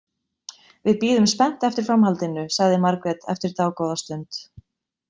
Við bíðum spennt eftir framhaldinu, sagði Margrét eftir dágóða stund.